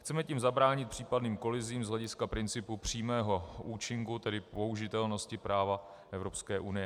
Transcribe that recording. Chceme tím zabránit případným kolizím z hlediska principu přímého účinku, tedy použitelnosti práva Evropské unie.